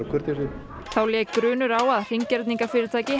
kurteisir þá lék grunur á að